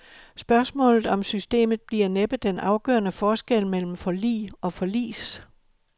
Spørgsmålet om systemet bliver næppe den afgørende forskel mellem forlig og forlis.